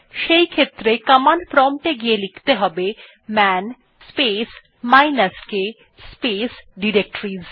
সেইক্ষেত্রে command prompt এ গিয়ে লিখতে হবে man space minus k space directories